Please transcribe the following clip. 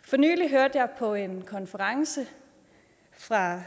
for nylig hørte jeg på en konference fra